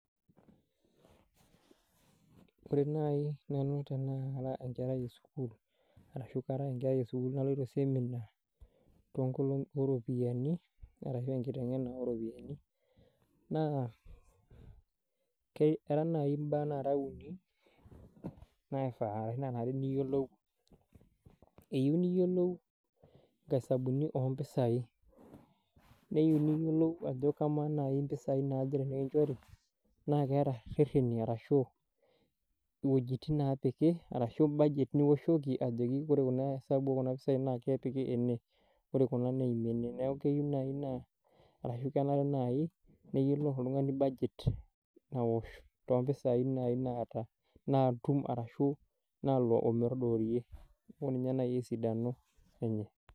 Wore nai nanu tenara enkerai esukuul, arashu kara enkerai esukuul naloito semina ooropiyiani arashu enkitengena ooropiyiani. Naa era naai imbaa nara uni, naanare niyielou. Eyieu niyiolou inkaisabuni oompisai, neyiu niyiolou ajo kamaa naai impisai naaje tenikinchori, naa keeta irrereni arashu, iwejitin neepiki arashu budget nioshoki arashu wore esabu ekuna pisai naa kepiki ene, wore kuna neimie ene. Neeku keyieu naai naa, arashu kenare naai niyiolou oltungani budget naosh toompisai nai naata , naatum arashu naalo ometodoorie, neeku ninye nai esidano enye.